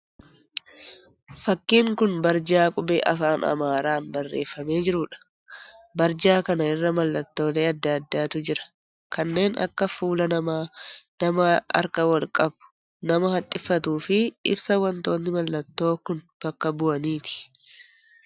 Fakkiin kun barjaa qubee afaan Amaaraan barreeffamee jiruudha. Barjaa kana irra mallattoolee adda addaatu jira. Kanneen akka fuula namaa, nama harka wal qabu, nama haxxiffatu fi ibsa wantootni mallattoo kun bakka bu'aniiti.